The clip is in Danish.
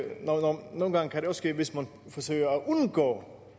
nogle gange kan ske hvis man forsøger at undgå